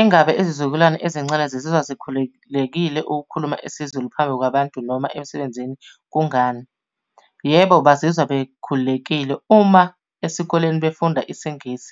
Engabe izizukulwane ezincane zizizwa zikhululekile ukukhuluma isiZulu phambi kwabantu noma emsebenzini, kungani? Yebo bazizwa bekhululekile uma esikoleni befunda isingisi,